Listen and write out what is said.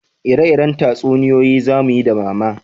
Ire-iren tatsuniyoyi za muyi da mama